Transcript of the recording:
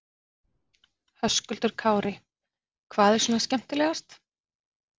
Höskuldur Kári: Hvað er svona skemmtilegast?